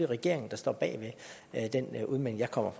regeringen der står bag den udmelding jeg kommer